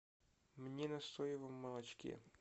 мне на соевом молочке